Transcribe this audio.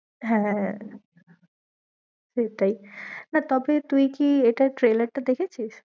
হ্যাঁ, সেইটাই না তবে তুই কি এটার trallor টা দেখেছিস?